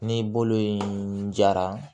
Ni bolo in jara